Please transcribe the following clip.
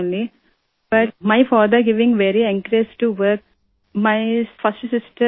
صرف خواتین لیکن میرے والد کام کرنے کی بہت حوصلہ افزائی کرتے ہیں